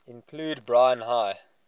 include brine high